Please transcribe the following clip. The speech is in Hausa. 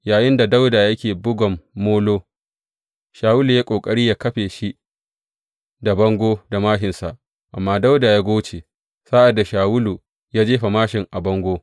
Yayinda Dawuda yake bugan molo, Shawulu ya yi ƙoƙari yă kafe shi da bango da māshinsa, amma Dawuda ya goce sa’ad da Shawulu jefa māshin a bango.